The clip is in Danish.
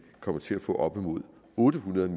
kommer til at få op imod otte hundrede